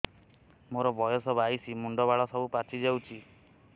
ମୋର ବୟସ ବାଇଶି ମୁଣ୍ଡ ବାଳ ସବୁ ପାଛି ଯାଉଛି